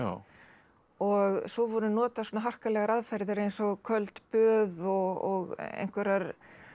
og svo voru notaðar svona harkalegar aðferðir eins og köld böð og einhverjar